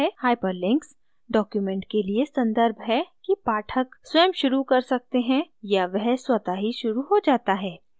hyperlink document के लिए संदर्भ है कि पाठक स्वयं शुरू कर सकते हैं या वह स्वतः ही शुरू हो जाता है